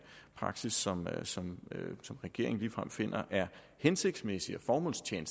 praksis som som regeringen ligefrem finder er hensigtsmæssig og formålstjenlig